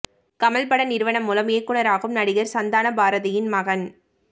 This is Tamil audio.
கமல் பட நிறுவனம் மூலம் இயக்குனராகும் நடிகர் சந்தான பாரதியின் மகன்